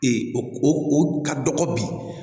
o o ka dɔgɔ bi